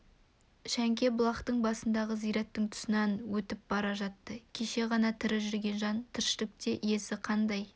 шәңке бұлақтың басындағы зираттың тұсынан өтіп бара жатты кеше ғана тірі жүрген жан тіршілікте иесі қандай